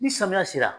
Ni samiya sera